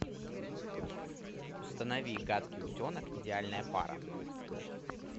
установи гадкий утенок идеальная пара